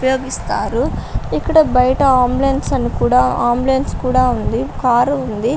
ఉపయోగిస్తారు. ఇక్కడ బయట అంబులెన్స్ అని కూడా అంబులెన్స్ కూడా ఉంది. కారు ఉంది.